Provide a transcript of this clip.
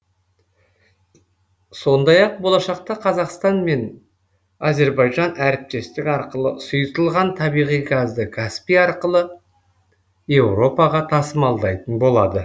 сондай ақ болашақта қазақстан мен әзірбайжан әріптестік арқылы сұйытылған табиғи газды каспий арқылы еуропаға тасымалдайтын болады